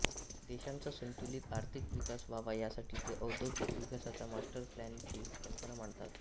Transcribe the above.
देशाचा संतुलित आर्थिक विकास व्हावा यासाठी ते औद्योगिक विकासाच्या मास्टर प्लानची कल्पना मांडतात